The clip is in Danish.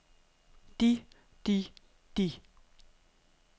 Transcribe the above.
de de de